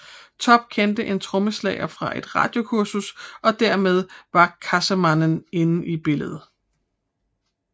Topp kendte en trommeslager fra et radiokursus og dermed var Cassemannen inde i billedet